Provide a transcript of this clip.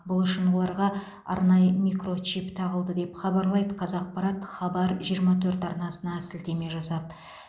бұл үшін оларға арнайы микрочип тағылды деп хабарлайды қазақпарат хабар жиырма төрт арнасына сілтеме жасап